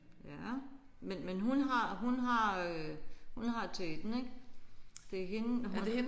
Ja men hun har hun har øh hun har teten ik. Det er hende hun